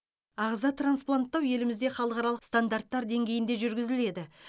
ағза транспланттау елімізде халықаралық стандарттар деңгейінде жүргізіледі